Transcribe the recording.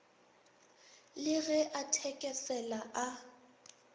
le ge a thekesela a